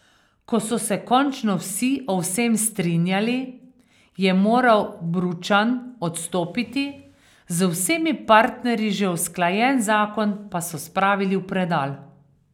Ko so se končno vsi o vsem strinjali, je moral Bručan odstopiti, z vsemi partnerji že usklajen zakon pa so spravili v predal.